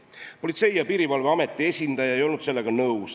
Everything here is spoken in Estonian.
Politsei- ja Piirivalveameti esindaja ei olnud sellega nõus.